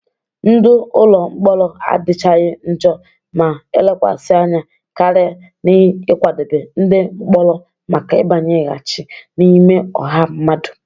Ndụ ụlọ mkpọrọ adịchaghị njọ ma elekwasị anya karị n'ịkwadebe ndị mkpọrọ maka ịbanyeghachi n'ime ọha mmadụ.